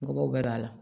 Nɔgɔw bɛɛ don a la